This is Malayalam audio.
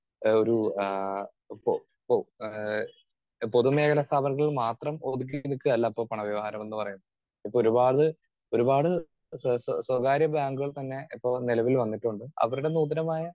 സ്പീക്കർ 2 ആഹ് ഒരു ആഹ് ഇപ്പൊ ഇപ്പൊ ആഹ് പൊതുമേഖലാ സ്ഥാപനത്തിൽ മാത്രം ഒതുക്കിയിട്ട് നിൽക്കുവല്ല ഇപ്പോ പണ വ്യവഹാരം എന്ന് പറയുന്നത്. ഇപ്പോ ഒരുപാട് ഒരുപാട് സ്വ സ്വ സ്വകാര്യബാങ്കുകൾ തന്നെ ഇപ്പൊ നിലവിൽ വന്നിട്ടുണ്ട് അവരുടെ നൂതനമായ